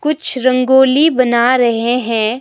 कुछ रंगोली बना रहे हैं।